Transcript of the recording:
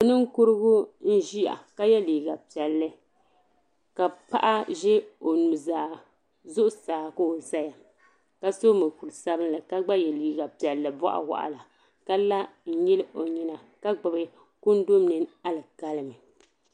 Ninkurigu n ʒia ka ye liiga piɛlli ka paɣa ʒe o nuzaa zuɣusaa ka o zaya ka so mokuru sabinli ka gba ye liiga piɛli boɣuwaɣala ka la n nyili o nyina ka gbibi kundu mini alikalimi.